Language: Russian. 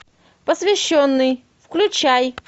посвященный включай